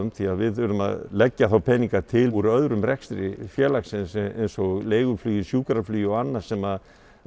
því við þurfum að leggja þá peninga til úr öðrum rekstri félagsins eins og leiguflugi sjúkraflugi og annað sem